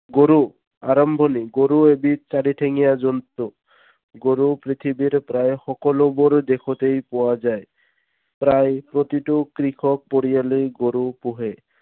গৰু, আৰম্ভণি। গৰু এবিধ চাৰিঠেঙীয়া জন্তু। গৰু পৃথিৱীৰ প্ৰায় সকলোবোৰ দেশতেই পোৱা যায়। প্ৰায় প্ৰতিটো কৃষক পৰিয়ালেই গৰু পোহে।